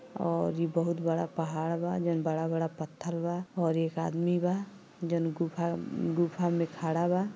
और ई बहुत बड़ा पहाड़ बा जौन बड़ा बड़ा पत्थर बा और एक आदमी बा जौन गुफा गुफा में खड़ा बा।